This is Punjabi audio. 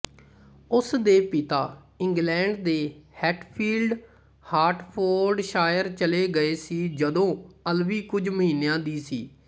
ਉਸ ਦੇ ਪਿਤਾ ਇੰਗਲੈਂਡ ਦੇ ਹੈਟਫੀਲਡ ਹਰਟਫੋਰਡਸ਼ਾਇਰ ਚਲੇ ਗਏ ਸੀਜਦੋਂ ਅਲਵੀ ਕੁਝ ਮਹੀਨਿਆਂ ਦੀ ਸੀ